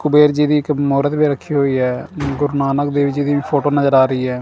ਕਬੀਰ ਜੀ ਦੀ ਇੱਕ ਮੂਰਤ ਵੀ ਰੱਖੀ ਹੋਈ ਹੈ ਗੁਰੂ ਨਾਨਕ ਦੇਵ ਜੀ ਦੀ ਫੋਟੋ ਨਜ਼ਰ ਆ ਰਹੀ ਹੈ।